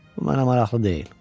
Bu mənə maraqlı deyil.